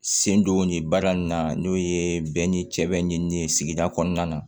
Sen donni baara in na n'o ye bɛɛ ni cɛ bɛ ɲini sigida kɔnɔna na